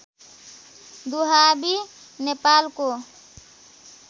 दुहाबी नेपालको